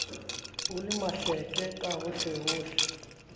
ho le mahleke ka hohlehohle